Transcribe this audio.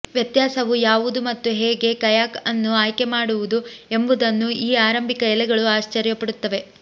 ವ್ಯತ್ಯಾಸವು ಯಾವುದು ಮತ್ತು ಹೇಗೆ ಕಯಾಕ್ ಅನ್ನು ಆಯ್ಕೆ ಮಾಡುವುದು ಎಂಬುದನ್ನು ಈ ಆರಂಭಿಕ ಎಲೆಗಳು ಆಶ್ಚರ್ಯಪಡುತ್ತವೆ